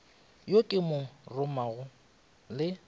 yo ke mo romago le